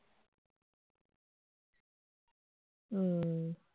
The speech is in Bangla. হম